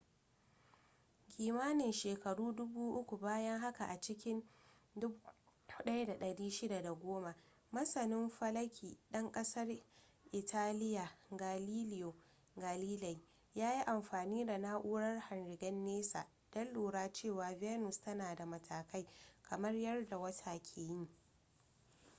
kimanin shekaru dubu uku bayan haka a cikin 1610 masanin falaki ɗan ƙasar italiya galileo galilei ya yi amfani da na'urar hangen nesa don lura cewa venus tana da matakai kamar yadda wata yake yi